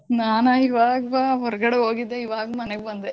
ನಾನಾ ಈವಾಗ್ ಬ ಹೊರ್ಗಡೆ ಹೋಗಿದ್ದೆ ಈವಾಗ್ ಮನೇಗ್ ಬಂದೆ.